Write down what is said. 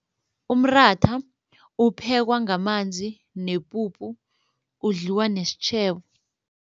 Umratha uphekwa ngamanzi nepupu udliwa nesitjhebo.